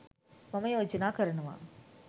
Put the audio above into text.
මම යෝජනා කරනවා